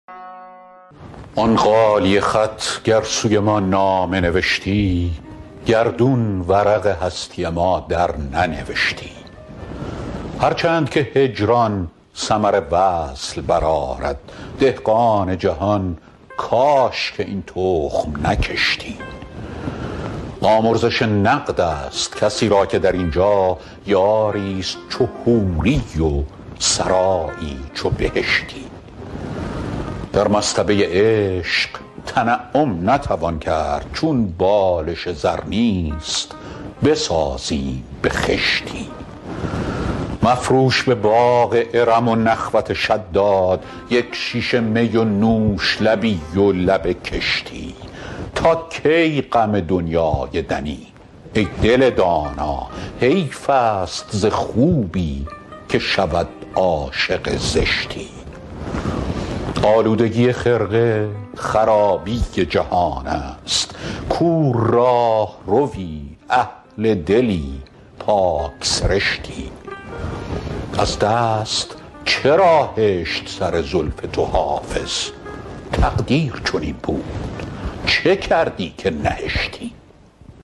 آن غالیه خط گر سوی ما نامه نوشتی گردون ورق هستی ما درننوشتی هر چند که هجران ثمر وصل برآرد دهقان جهان کاش که این تخم نکشتی آمرزش نقد است کسی را که در این جا یاری ست چو حوری و سرایی چو بهشتی در مصطبه عشق تنعم نتوان کرد چون بالش زر نیست بسازیم به خشتی مفروش به باغ ارم و نخوت شداد یک شیشه می و نوش لبی و لب کشتی تا کی غم دنیای دنی ای دل دانا حیف است ز خوبی که شود عاشق زشتی آلودگی خرقه خرابی جهان است کو راهروی اهل دلی پاک سرشتی از دست چرا هشت سر زلف تو حافظ تقدیر چنین بود چه کردی که نهشتی